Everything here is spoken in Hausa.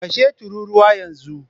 Kashe tururuwa yanzu!